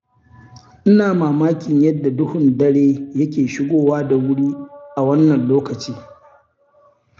Ina mamakin yadda duhun dare yake shigowa da wuri a wannan lokaci.